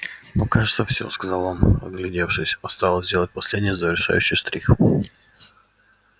ну кажется всё сказал он оглядевшись осталось сделать последний завершающий штрих